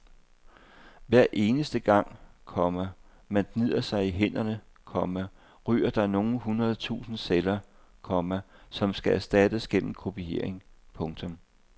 Hver eneste gang, komma man gnider sig i hænderne, komma ryger der nogle hundrede tusinde celler, komma som skal erstattes gennem kopiering. punktum